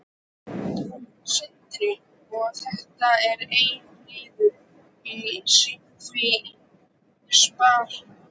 Sindri: Og þetta er einn liður í því að spara?